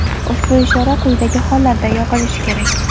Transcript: Ushbu ishora quyidagi hollarda yoqilishi kerak:.